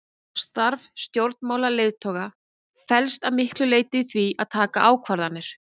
Starf stjórnmálaleiðtoga felst að miklu leyti í því að taka ákvarðanir.